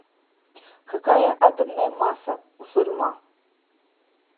какая атомная масса у сурьма